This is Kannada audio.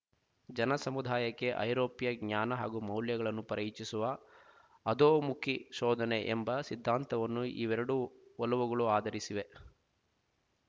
ಜನಸಮುದಾಯಕ್ಕೆ ಐರೋಪ್ಯ ಜ್ಞಾನ ಹಾಗೂ ಮೌಲ್ಯಗಳನ್ನು ಪರಿಚಯಿಸುವ ಅಧೋಮುಖಿ ಶೋಧನೆ ಎಂಬ ಸಿದ್ಧಾಂತವನ್ನು ಇವೆರಡೂ ಒಲವುಗಳು ಆಧರಿಸಿವೆ